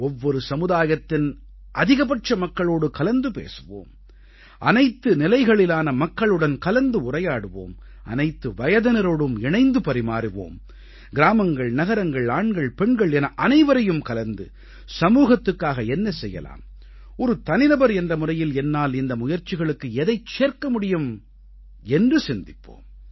ஒவ்வொரு சமுதாயத்தின் அதிகபட்ச மக்களோடு கலந்து பேசுவோம் அனைத்து நிலைகளிலான மக்களுடன் கலந்துரையாடுவோம் அனைத்து வயதினரோடும் இணைந்து பரிமாறுவோம் கிராமங்கள் நகரங்கள் ஆண்கள் பெண்கள் என அனைவரையும் கலந்து சமூகத்துக்காக என்ன செய்யலாம் ஒரு தனிநபர் என்ற முறையில் என்னால் இந்த முயற்சிகளுக்கு எதைச் சேர்க்க முடியும் என்று சிந்திப்போம்